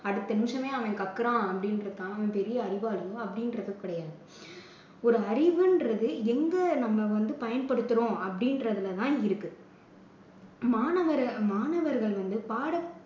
அடுத்த நிமிஷமே அவன் கக்கறான் அப்படின்றதுக்காக அவன் பெரிய அறிவாளி அப்படின்றது கிடையாது. ஒரு அறிவுன்றது எங்க நம்ம வந்து பயன்படுத்துறோம் அப்படின்றதுல தான் இருக்கு. மாணவர் மாணவர்கள் வந்து பாடத்~